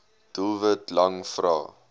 doelwit lang vrae